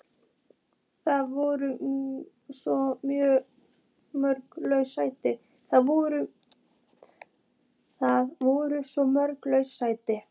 Það voru svo mörg laus sæti.